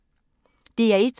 DR1